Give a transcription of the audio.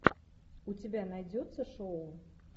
у тебя найдется шоу